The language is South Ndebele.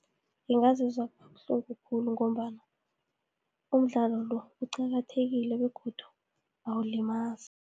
Ngingazizwa kabuhlungu khulu, ngombana umdlalo lo, uqakathekile begodu awulimazi.